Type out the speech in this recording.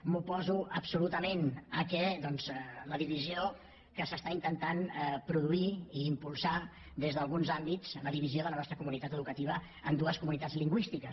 m’oposo absolutament doncs a la divisió que s’està intentant produir i impulsar des d’alguns àmbits la divisió de la nostra comunitat educativa en dues comunitats lingüístiques